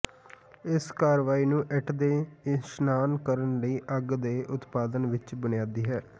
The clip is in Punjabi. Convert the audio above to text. ਇਸ ਕਾਰਵਾਈ ਨੂੰ ਇੱਟ ਦੇ ਇਸ਼ਨਾਨ ਕਰਨ ਲਈ ਅੱਗ ਦੇ ਉਤਪਾਦਨ ਵਿੱਚ ਬੁਨਿਆਦੀ ਹੈ